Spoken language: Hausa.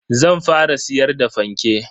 Zan fara siyar da fanke.